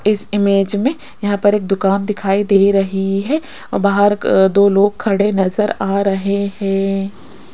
इस इमेज में यहां पर एक दुकान दिखाई दे रही है औ बाहर क दो लोग खड़े नजर आ रहे हैं।